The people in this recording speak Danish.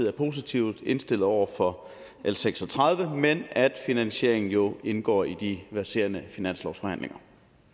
er positivt indstillet over for l seks og tredive men at finansieringen jo indgår i de verserende finanslovsforhandlinger